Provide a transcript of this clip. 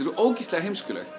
ógeðslega heimsklegt